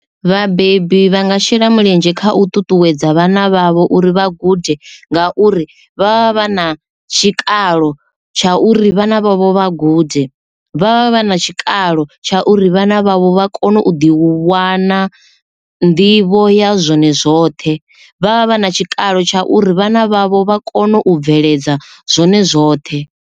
Vhabebi vha nga shela mulenzhe kha u ṱuṱuwedza vhana vhavho uri vha gude, ngauri vha vha na tshikalo tsha uri vhana vhavho vha gude vha vha vha na tshikalo ralo tsha uri vhana vhavho vha kone u ḓi u wana nḓivho ya zwone zwoṱhe vha vha vha na tshikalo tsha uri vhana vhavho vha kone u bveledza zwone zwoṱhe.